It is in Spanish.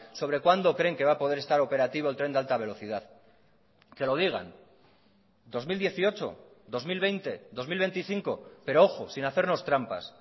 sobre cuándo creen que va a poder estar operativo el tren de alta velocidad que lo digan dos mil dieciocho dos mil veinte dos mil veinticinco pero ojo sin hacernos trampas